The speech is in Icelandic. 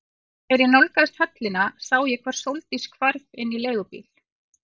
Þegar ég nálgaðist höllina sá ég hvar Sóldís hvarf inn í leigubíl.